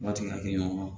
Waati ɲɔgɔn